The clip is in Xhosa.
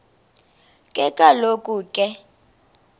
ke kaloku ke